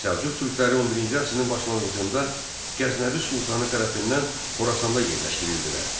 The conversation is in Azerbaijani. Səlcuq türkləri 11-ci əsrin başlanğıcında Qəznəvi sultanı tərəfindən Xorasanda yerləşdirildilər.